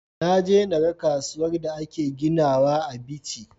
Naje na ga kasuwar da ake ginawa a bichi